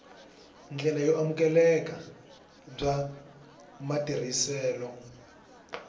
ndlela yo amukeleka bya matirhiselo